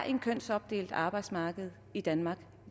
et kønsopdelt arbejdsmarked i danmark